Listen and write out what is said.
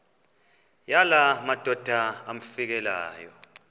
yala madoda amfikeleyo